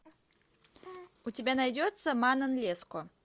у тебя найдется манон леско